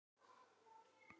Þá voru